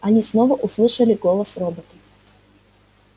они снова услышали голос робота